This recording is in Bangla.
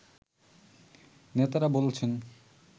নেতারা বলছেন